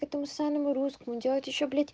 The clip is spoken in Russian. поэтому самым русскому делать ещё блядь